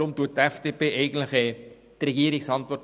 Darum unterstützt die FDP eigentlich die Antwort der Regierung.